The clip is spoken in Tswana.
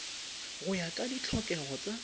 go ya ka ditlhokego tsa